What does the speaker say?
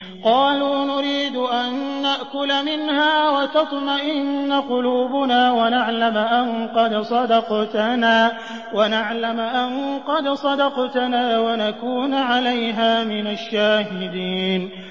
قَالُوا نُرِيدُ أَن نَّأْكُلَ مِنْهَا وَتَطْمَئِنَّ قُلُوبُنَا وَنَعْلَمَ أَن قَدْ صَدَقْتَنَا وَنَكُونَ عَلَيْهَا مِنَ الشَّاهِدِينَ